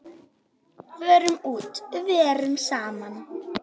Förum út, verum saman.